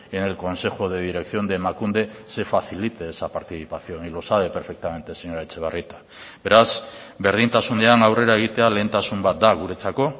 en el consejo de dirección de emakunde se facilite esa participación y lo sabe perfectamente señora etxebarrieta beraz berdintasunean aurrera egitea lehentasun bat da guretzako